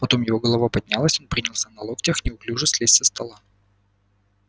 потом его голова поднялась он приподнялся на локтях неуклюже слез со стола